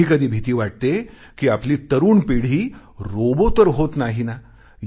कधीकधी भीती वाटते कि आपली तरुण पिढी रोबो तर होत नाही ना